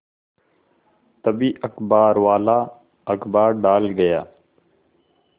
तभी अखबारवाला अखबार डाल गया